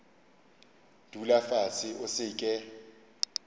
dula fase o se ke